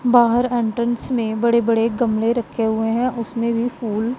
बाहर एंट्रेंस में बड़े बड़े गमले रखे हुए हैं उसमें भी फूल--